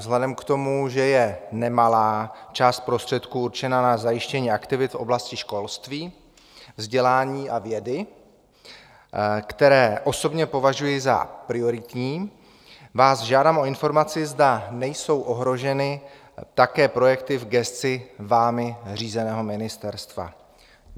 Vzhledem k tomu, že je nemalá část prostředků určená na zajištění aktivit v oblasti školství, vzdělání a vědy, které osobně považuji za prioritní, žádám vás o informaci, zda nejsou ohroženy také projekty v gesci vámi řízeného ministerstva.